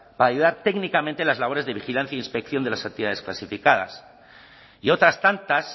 para técnicamente las labores de vigilancia inspección de las actividades clasificadas y otras tantas